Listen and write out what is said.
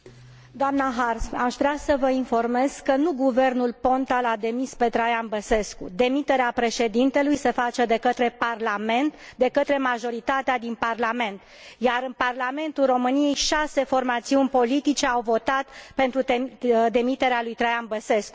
Doamnă Harms, aș vrea să vă informez că nu guvernul Ponta l a demis pe Traian Băsescu. Demiterea președintelui se face de către parlament, de către majoritatea din parlament, iar în Parlamentul României șase formațiuni politice au votat pentru demiterea lui Traian Băsescu.